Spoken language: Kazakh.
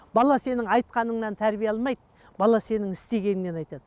бала сенің айтқаныңнан тәрбие алмайды бала сенің істегеніңнен айтады